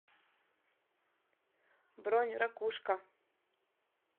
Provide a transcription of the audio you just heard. бронь ракушка